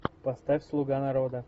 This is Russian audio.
поставь слуга народа